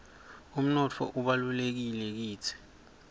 umnotfo ubalulekile kitsi